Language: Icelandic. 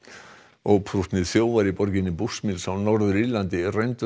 óprúttnir þjófar í borginni Bushmills á Norður Írlandi rændu